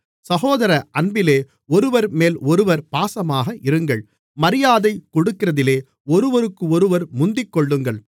சகோதர அன்பினாலே ஒருவர்மேல் ஒருவர் பாசமாக இருங்கள் மரியாதை கொடுக்கிறதிலே ஒருவருக்கொருவர் முந்திக்கொள்ளுங்கள்